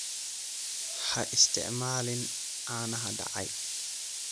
Ha isticmaalin caanaha dhacay.